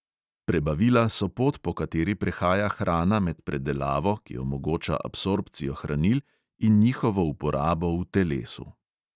Prebavila so pot, po kateri prehaja hrana med predelavo, ki omogoča absorpcijo hranil in njihovo uporabo v telesu.